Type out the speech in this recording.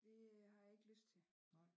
Det øh har jeg ikke lyst til